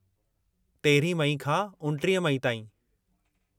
13 मई खां 29 मई ताईं।